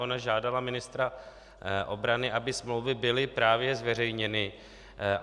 Ona žádala ministra obrany, aby smlouvy byly právě zveřejněny.